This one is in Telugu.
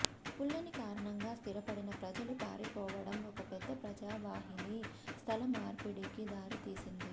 ఫులని కారణంగా స్థిరపడిన ప్రజలు పారిపోవడం ఒక పెద్ద ప్రజావాహిని స్థలమార్పిడికి దారితీసింది